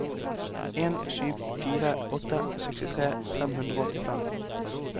en sju fire åtte sekstitre fem hundre og åttifem